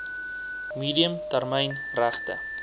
medium termyn regte